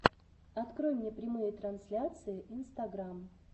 открой мне прямые трансляции инстаграм